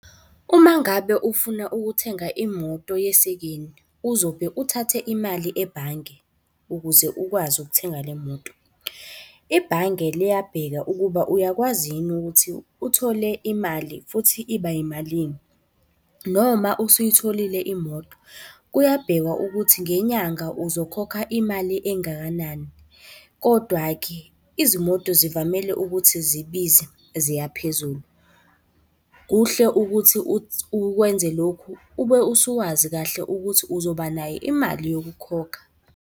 Uma ngabe ufuna ukuthenga imoto yesekeni, uzobe uthathe imali ebhange ukuze ukwazi ukuthenga le moto. Ibhange liyabheka ukuba uyakwazi yini ukuthi uthole imali futhi iba yimalini, noma usuyitholile imoto, kuyabhekwa ukuthi ngenyanga uzokhokha imali engakanani. Kodwa-ke izimoto zivamile ukuthi zibize ziya phezulu. Kuhle ukuthi uwenze lokhu ube usuwazi kahle ukuthi uzoba nayo imali yokukhokha.